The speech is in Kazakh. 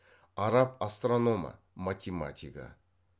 араб астрономы математигі